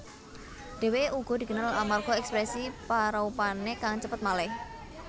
Dhèwèké uga dikenal amarga ekspresi paraupané kang cepet malih